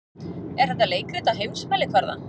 Er þetta leikrit á heimsmælikvarða?